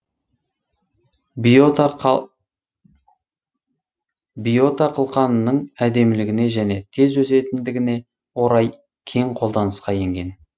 биота қылқанының әдемілігіне және тез өсетіндігіне орай кең қолданысқа енген